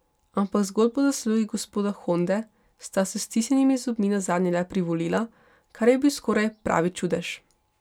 Ampak zgolj po zaslugi gospoda Honde sta s stisnjenimi zobmi nazadnje le privolila, kar je bil skoraj pravi čudež.